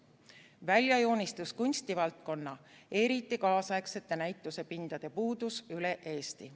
Välja joonistus kunstivaldkond, eriti kaasaegsete näitusepindade puudus üle Eesti.